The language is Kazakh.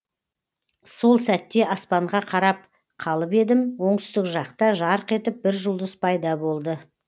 сол сәтте аспанға қарап қалып едім оңтүстік жақта жарқ етіп бір жұлдыз пайда болды